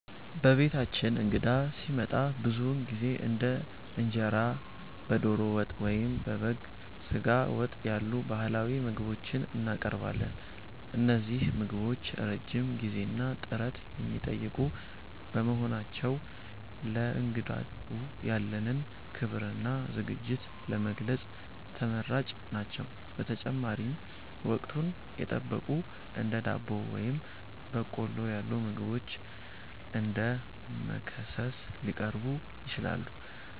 በቤታችን እንግዳ ሲመጣ ብዙውን ጊዜ እንደ እንጀራ በዶሮ ወጥ ወይም በበግ ስጋ ወጥ ያሉ ባህላዊ ምግቦችን እናቀርባለን። እነዚህ ምግቦች ረጅም ጊዜና ጥረት የሚጠይቁ በመሆናቸው፣ ለእንግዳው ያለንን ክብርና ዝግጅት ለመግለጽ ተመራጭ ናቸው። በተጨማሪም፣ ወቅቱን የጠበቁ እንደ ዳቦ ወይም በቆሎ ያሉ ምግቦች እንደ መክሰስ ሊቀርቡ ይችላሉ።